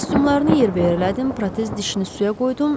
Kostyumlarını yerbəyer elədim, protez dişini suya qoydum.